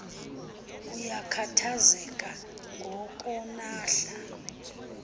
uyakhathazelca ngo konahla